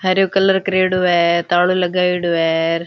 हरो कलर क्रेडो है तालो लगाएडो है।